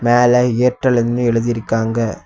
மேல ஏர்டெல்னு எழுதி இருக்காங்க.